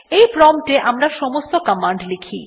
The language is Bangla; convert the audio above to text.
এই প্রম্পট এ আমরা সমস্ত কমান্ড লিখি